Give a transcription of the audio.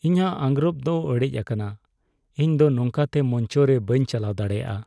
ᱤᱧᱟᱜ ᱟᱸᱜᱨᱚᱯ ᱫᱚ ᱚᱲᱮᱡ ᱟᱠᱟᱱᱟ ᱾ ᱤᱧ ᱫᱚ ᱱᱚᱝᱠᱟᱛᱮ ᱢᱚᱧᱪᱚ ᱨᱮ ᱵᱟᱹᱧ ᱪᱟᱞᱟᱣ ᱫᱟᱲᱮᱭᱟᱜᱼᱟ ᱾